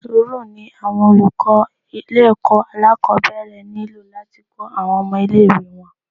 Sùúrù ni àwọn olùkọ́ ilé ẹ̀kọ́ alákòbẹ̀rẹ̀ nílò láti kọ́ àwọn ọmọ ilé ìwé wọn.